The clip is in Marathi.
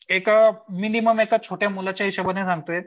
एका मिनिमम छोट्या मुलाच्या हिशोबाने सांगतोय.